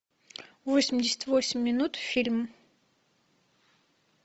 восемьдесят восемь минут фильм